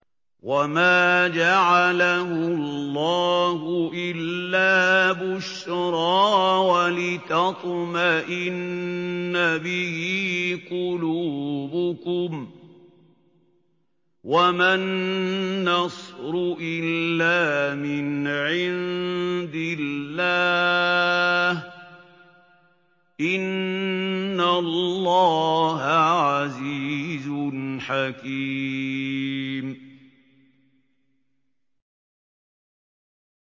وَمَا جَعَلَهُ اللَّهُ إِلَّا بُشْرَىٰ وَلِتَطْمَئِنَّ بِهِ قُلُوبُكُمْ ۚ وَمَا النَّصْرُ إِلَّا مِنْ عِندِ اللَّهِ ۚ إِنَّ اللَّهَ عَزِيزٌ حَكِيمٌ